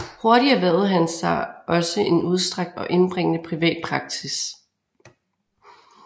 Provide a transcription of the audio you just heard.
Hurtig erhvervede han sig også en udstrakt og indbringende privat praksis